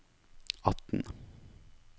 atten